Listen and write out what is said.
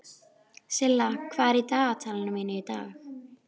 Hún er styrk þótt fingur hans haldi um beinin.